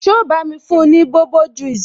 So bá mi fún ni bobo juice?